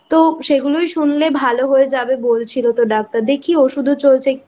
তো সেগুলো শুনলেই ভালো হয়ে যাবে বলছিলো তো ডাক্তার দেখি ঔষুধও চলছে